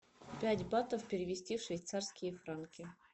пять батов перевести в швейцарские франки